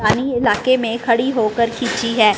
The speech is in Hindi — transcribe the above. इलाक़े में खड़ी होकर खींची है।